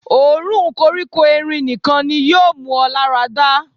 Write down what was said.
Òórùn koríko erin nìkan ni yóò mú ọ lára dà.